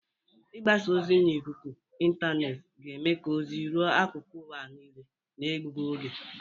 Mgbasa ozi n'ikuku intaanet ga-eme ka ozi ruo akụkụ ụwa niile na-ebughi oge.